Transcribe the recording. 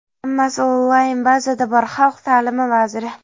hammasi onlayn bazada bor — xalq ta’limi vaziri.